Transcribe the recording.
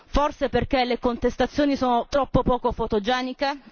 Forse perché le contestazioni sono troppo poco fotogeniche?